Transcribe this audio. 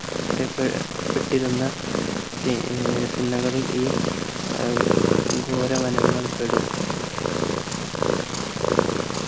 അറിയപ്പെ പെട്ടിരുന്ന ത ആഹ് തിണ്ണകളിൽ ഈ ആഹ് ഘോര വനങ്ങൾ പെടും